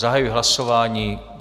Zahajuji hlasování.